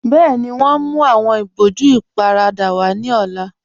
Bẹẹni, wọn ní mú awọn ìbòjú ìparada wa ní ọ̀la